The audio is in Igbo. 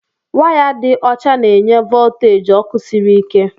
Waya dị ọcha na-enye volteji ọkụ sịrị ike.